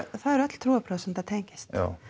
það eru öll trúarbrögð sem þetta tengist